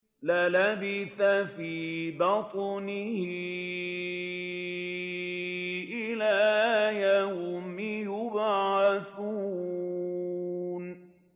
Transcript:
لَلَبِثَ فِي بَطْنِهِ إِلَىٰ يَوْمِ يُبْعَثُونَ